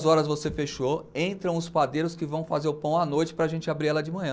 horas você fechou, entram os padeiros que vão fazer o pão à noite para a gente abrir ela de manhã.